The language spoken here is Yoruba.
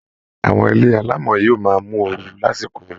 Àwọn ilé alámọ̀ yóò máa mú ooru lásìkò ooru